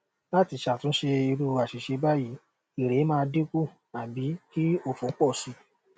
lati satunse iru asise bayii ere maa dinku abi ki ofo po si